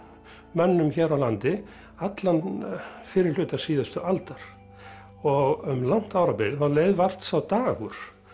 mönnum hér á landi allan fyrri hluta síðustu aldar um langt árabil leið vart sá dagur